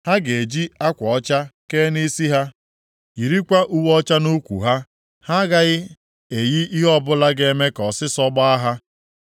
Ha ga-eji akwa ọcha kee nʼisi ha, yirikwa uwe ọcha nʼukwu ha. Ha agaghị eyi ihe ọbụla ga-eme ka ọsịsọọ gbaa ha.